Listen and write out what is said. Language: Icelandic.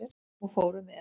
Og fóru með.